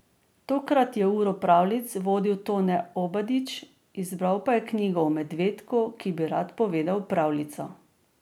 Tokrat je uro pravljic vodil Tone Obadič, izbral pa je knjigo o medvedku, ki bi rad povedal pravljico.